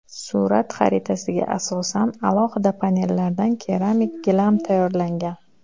Surat xaritasiga asosan alohida panellardan keramik gilam tayyorlangan.